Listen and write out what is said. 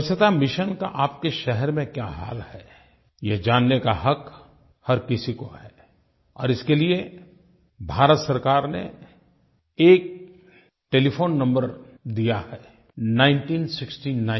स्वच्छता मिशन का आपके शहर में क्या हाल है ये जानने का हक़ हर किसी को है और इसके लिये भारत सरकार ने एक टेलीफ़ोन नंबर दिया है 1969